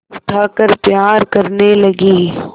उठाकर प्यार करने लगी